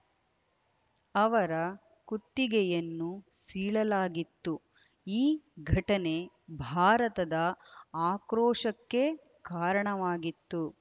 ಅವರ ಕುತ್ತಿಗೆಯನ್ನು ಸೀಳಲಾಗಿತ್ತು ಈ ಘಟನೆ ಭಾರತದ ಆಕ್ರೋಶಕ್ಕೆ ಕಾರಣವಾಗಿತ್ತು